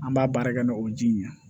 An b'a baara kɛ n'o ye ji ɲɛ ye